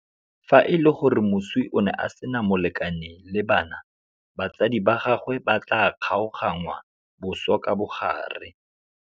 Fa e le gore moswi o ne a sena molekane le bana, batsadi ba gagwe ba tla kgaoganngwa boswa ka bogare.